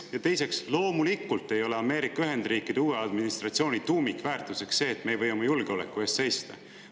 Ja teiseks, loomulikult ei ole Ameerika Ühendriikide uue administratsiooni tuumikväärtuseks see, et me ei või oma julgeoleku eest seista.